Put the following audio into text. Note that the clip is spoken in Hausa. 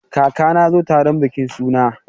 Kakana ya zo taron bikin suna.